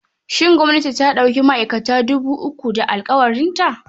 Shin gwamnati ta ɗauki ma'aikata dubu uku da da alƙawarta?